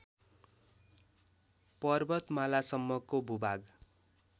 पर्वतमालासम्मको भूभाग